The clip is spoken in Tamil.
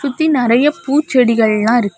சுத்தி நறைய பூச்செடிகள் எல்லாம் இருக்கு.